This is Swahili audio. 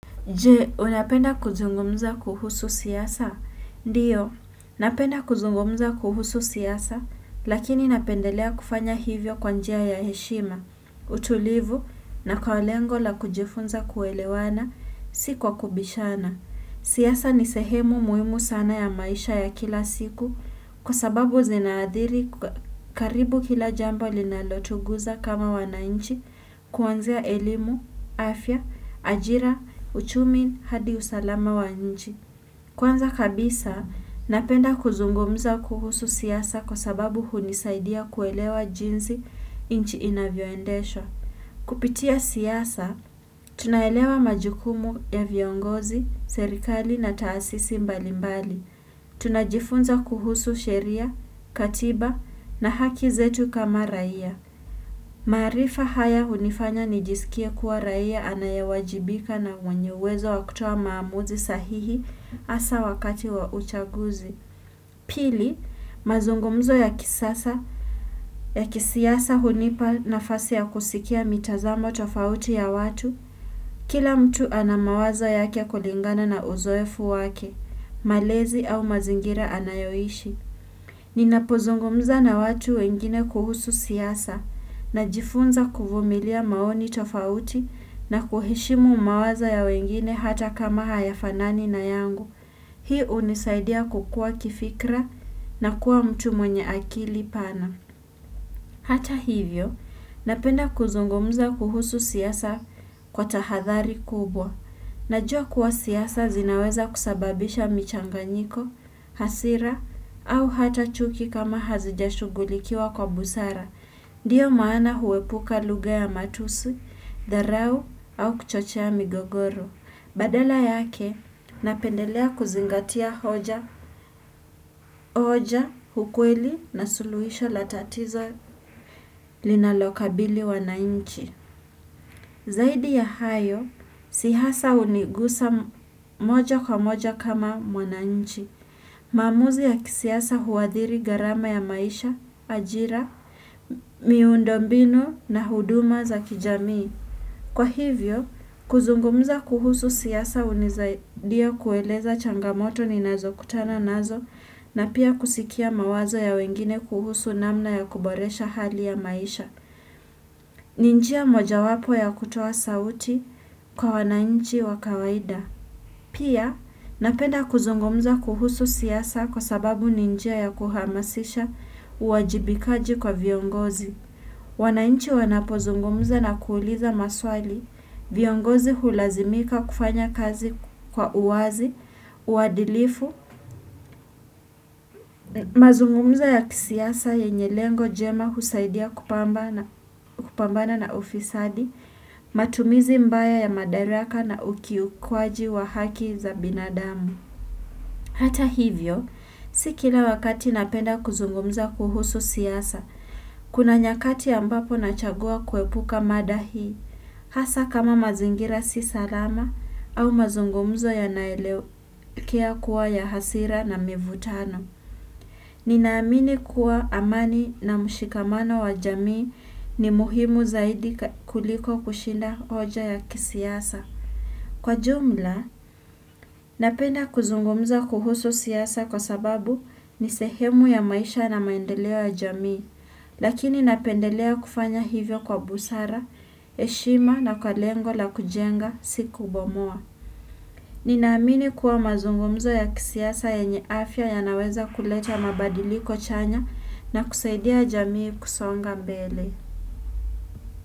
Je, unapenda kuzungumza kuhusu siasa? Ndiyo, napenda kuzungumza kuhusu siasa, lakini napendelea kufanya hivyo kwa njia ya heshima, utulivu na kwa lengo la kujifunza kuelewana, si kwa kubishana. Siasa ni sehemu muhimu sana ya maisha ya kila siku kwa sababu zinaadhiri karibu kila jambo linalotuguza kama wananchi kuanzia elimu, afya, ajira, uchumi, hadi usalama wa nchi. Kwanza kabisa napenda kuzungumuza kuhusu siasa kwa sababu hunisaidia kuelewa jinsi nchi inavyoendeshwa Kupitia siasa, tunaelewa majukumu ya viongozi, serikali na taasisi mbalimbali. Tunajifunza kuhusu sheria, katiba na haki zetu kama raia. Maarifa haya hunifanya nijisikie kuwa raia anayewajibika na mwenye uwezo wa kutoa maamuzi sahihi hasa wakati wa uchaguzi. Pili, mazungumzo ya kisasa, ya kisiasa hunipa nafasi ya kusikia mitazamo tofauti ya watu, kila mtu ana mawazo yake kulingana na uzoefu wake, malezi au mazingira anayoishi. Ninapozungumza na watu wengine kuhusu siasa, najifunza kuvumilia maoni tofauti na kuheshimu mawazo ya wengine hata kama hayafanani na yangu. Hii hunisaidia kukua kifikra na kuwa mtu mwenye akili pana. Hata hivyo, napenda kuzungumza kuhusu siasa kwa tahadhari kubwa. Najua kuwa siasa zinaweza kusababisha michanganyiko, hasira, au hata chuki kama hazijashugulikiwa kwa busara. Ndiyo maana huepuka lugha ya matusi, dharau au kuchochea migogoro. Badala yake, napendelea kuzingatia hoja, hoja, ukweli na suluhisho la tatizo linalokabili wanainchi. Zaidi ya hayo, siasa hunigusa moja kwa moja kama mwananchi. Maamuzi ya kisiasa huadhiri gharama ya maisha, ajira, miundombinu na huduma za kijamii. Kwa hivyo, kuzungumza kuhusu siasa hunisadia kueleza changamoto ninazo kutana nazo na pia kusikia mawazo ya wengine kuhusu namna ya kuboresha hali ya maisha. Ni njia mojawapo ya kutoa sauti kwa wanainchi wa kawaida. Pia, napenda kuzungumza kuhusu siasa kwa sababu ni njia ya kuhamasisha uwajibikaji kwa viongozi. Wananchi wanapozungumza na kuuliza maswali, viongozi hulazimika kufanya kazi kwa uwazi, uwadilifu, mazungumuzo ya kisiasa yenye lengo jema husaidia kupambana na ufisadi, matumizi mbaya ya madaraka na ukiukaji wa haki za binadamu. Hata hivyo, si kila wakati napenda kuzungumza kuhusu siasa, kuna nyakati ambapo nachagua kuepuka mada hii, hasa kama mazingira si salama au mazungumzo yanaelekea kuwa ya hasira na mivutano. Ninaamini kuwa amani na mshikamano wa jamii ni muhimu zaidi kuliko kushinda hoja ya kisiasa. Kwa jumla, napenda kuzungumza kuhusu siasa kwa sababu ni sehemu ya maisha na maendeleo ya jamii, lakini napendelea kufanya hivyo kwa busara, heshima na kwa lengo la kujenga si kubomoa. Ninaamini kuwa mazungumzo ya kisiasa yenye afya yanaweza kuleta mabadiliko chanya na kusaidia jamii kusonga mbele.